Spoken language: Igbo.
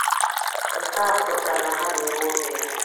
Nke a pụta na ha n'egbu oge ha.